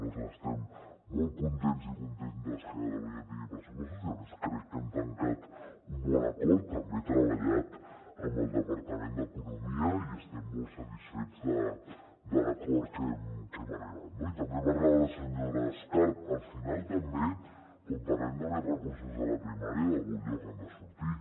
nosaltres estem molt contents i contentes que catalunya tingui pressupostos i a més crec que hem tancat un bon acord també treballat amb el departament d’economia i estem molt satisfets de l’acord a que hem arribat no i també en parlava la senyora escarp al final també quan parlem de més recursos de la primària d’algun lloc han de sortir